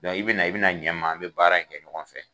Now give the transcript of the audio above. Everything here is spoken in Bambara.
i bɛ na bɛ na ɲɛ ma an bɛ baara kɛ ɲɔgɔn fɛ.